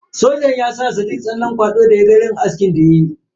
Sojan ya saka sadiq tsallen kwado da ya ga irin askin da ya yi.